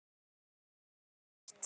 Allt og ekkert